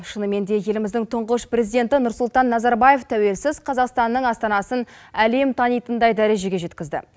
шынымен де еліміздің тұңғыш президенті нұрсұлтан назарбаев тәуелсіз қазақстанның астанасын әлем танитындай дәрежеге жеткізді